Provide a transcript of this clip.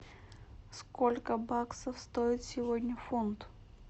сколько баксов стоит сегодня фунт